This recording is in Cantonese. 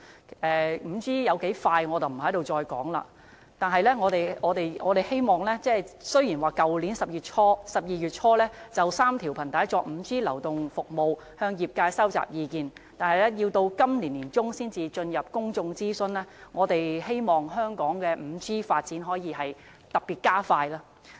我不再重提 5G 速度有多快了，雖然政府在去年12月初，就3條頻帶用作 5G 流動服務向業界收集意見，但卻要到今年年中才會進入公眾諮詢，我們希望香港的 5G 發展可以再加快。